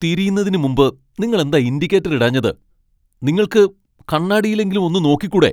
തിരിയുന്നതിനുമുമ്പ് നിങ്ങൾ എന്താ ഇൻഡിക്കേറ്റർ ഇടാഞ്ഞത്? നിങ്ങൾക്ക് കണ്ണാടിയിലെങ്കിലും ഒന്ന് നോക്കിക്കൂടെ?